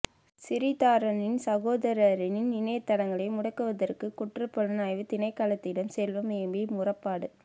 சிறிதரனின் சகோதரனின் இணையத்தளங்களை முடக்குவதற்கு குற்றபுலனாய்வுத்திணைக்களத்திடம் செல்வம் எம்பி முறைப்பாடு